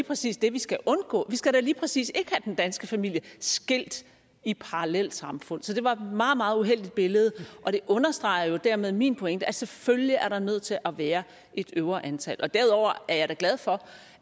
præcis det vi skal undgå vi skal da lige præcis ikke have den danske familie skilt i parallelsamfund så det var et meget meget uheldigt billede og det understreger dermed min pointe at selvfølgelig er nødt til at være et øvre antal derudover er jeg da glad for